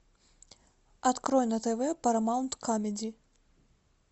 открой на тв парамаунт камеди